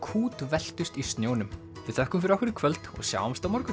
kútveltust í snjónum við þökkum fyrir okkur í kvöld og sjáumst á morgun